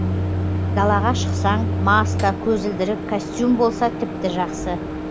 далаға шықсаң маска көзілдірік костюм болса тіпті жақсы